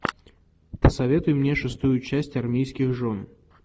посоветуй мне шестую часть армейских жен